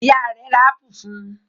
Ìyá rẹ̀ ra ápù fún un?